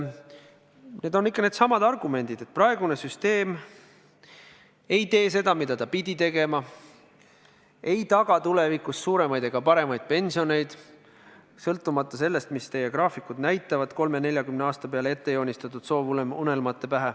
Need on ikka needsamad argumendid, et praegune süsteem ei tee seda, mida ta pidi tegema, ei taga tulevikus suuremaid ega paremaid pensioneid, sõltumata sellest, mis teie graafikud näitavad 30–40 aasta peale ette joonistatud soovunelmatena.